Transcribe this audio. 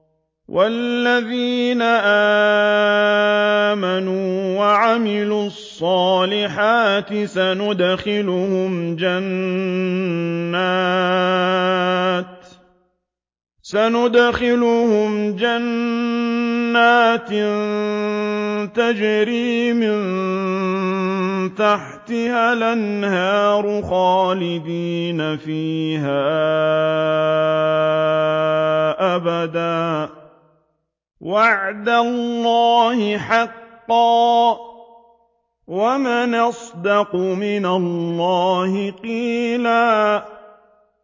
وَالَّذِينَ آمَنُوا وَعَمِلُوا الصَّالِحَاتِ سَنُدْخِلُهُمْ جَنَّاتٍ تَجْرِي مِن تَحْتِهَا الْأَنْهَارُ خَالِدِينَ فِيهَا أَبَدًا ۖ وَعْدَ اللَّهِ حَقًّا ۚ وَمَنْ أَصْدَقُ مِنَ اللَّهِ قِيلًا